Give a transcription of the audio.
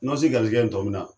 Nosi garizigɛ ye na ?